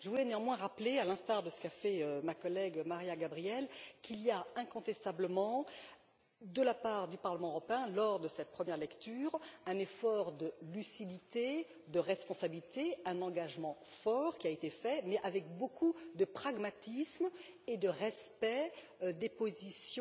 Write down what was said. Je voulais néanmoins rappeler, à l'instar de ce qu'a fait ma collègue, Mariya Gabriel, qu'il y a incontestablement de la part du Parlement européen, dans le cadre de cette première lecture, un effort de lucidité, de responsabilité, un engagement fort qui a été pris mais avec beaucoup de pragmatisme et de respect des positions